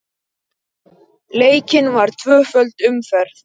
Leikin var tvöföld umferð.